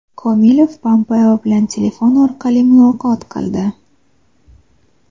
Komilov Pompeo bilan telefon orqali muloqot qildi.